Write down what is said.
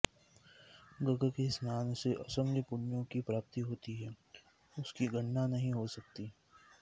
गग के स्नान से असंख्य पुण्यों की प्राप्ति होती है उसकी गणना नहीं हो सकती